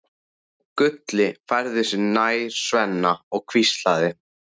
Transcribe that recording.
Gulli færði sig nær Svenna og hvíslaði